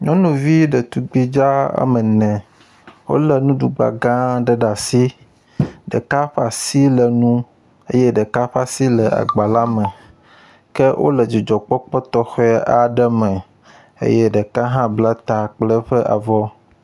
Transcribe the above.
Nyɔnuvi ɖetugbi dzaa woame ene wole nuɖugba gã aɖe ɖ'asi, ɖeka ƒ'asi le nuu eye ɖeka ƒ'asi le agba la me, ke wole dzidzɔkpɔkpɔ tɔxɛ aɖe me eye ɖeka hã bla ta kple eƒe avɔ.